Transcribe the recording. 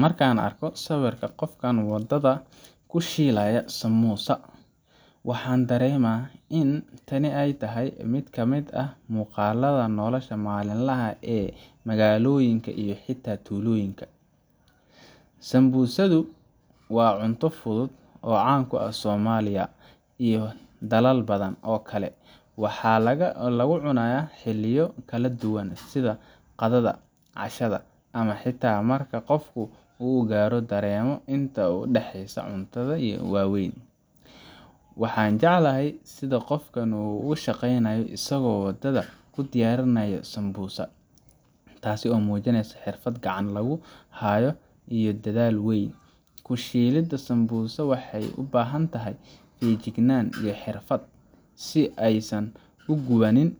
Marka aan arko sawirkan qofka waddada ku shiilaya sambusa, waxaan dareemaa in tani tahay mid ka mid ah muuqaalada nolosha maalinlaha ah ee magaalooyinka iyo xitaa tuulooyinka. sambusadu waa cunto fudud oo caan ka ah Soomaaliya iyo dalal badan oo kale, waxaana lagu cunaa xilliyo kala duwan sida qadada, cashada, ama xitaa marka qof uu gaajo dareemo inta u dhexeysa cuntada waaweyn. Waxaan jeclahay sida qofkani uu u shaqeynayo isagoo wadada ku diyaarinaya sambusa , taasoo muujinaysa xirfad gacanta lagu hayo iyo dadaal weyn. Ku shiilidda samosa waxay u baahan tahay feejignaan iyo xirfad si aysan u gubin